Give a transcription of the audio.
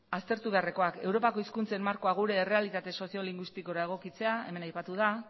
aztertu beharrekoak europako hizkuntzen markoa gure errealitate soziolinguistikora egokitzea emen aipatu da